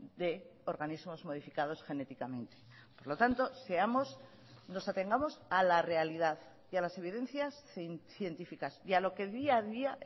de organismos modificados genéticamente por lo tanto seamos nos atengamos a la realidad y a las evidencias científicas y a lo que día a día